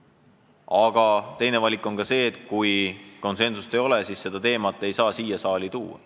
Aga teine valik on see, et kui konsensust ei ole, siis teemat ei saa siia saali tuua.